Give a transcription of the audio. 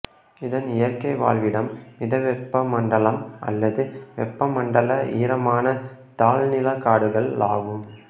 இதன் இயற்கை வாழ்விடம் மிதவெப்பமண்டல அல்லது வெப்பமண்டல ஈரமான தாழ் நில காடுகளாகும்